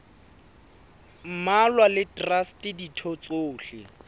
mmalwa le traste ditho tsohle